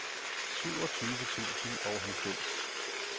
syvogtyve tusind og halvfems